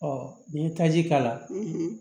n'i ye taji k'a la